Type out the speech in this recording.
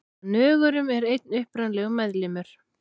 Af nögurum er einn upprunalegur meðlimur.